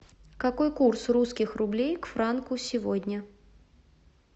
какой курс русских рублей к франку сегодня